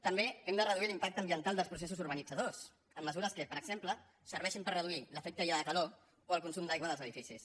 també hem de reduir l’impacte ambiental dels processos urbanitzadors amb mesures que per exemple serveixin per reduir l’efecte illa de calor o el consum d’aigua dels edificis